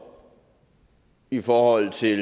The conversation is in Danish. i forhold til